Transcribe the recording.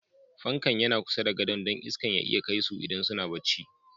Fanƙan yana kusa da godo'n, don iskan ya iya kai su idan suna bacci.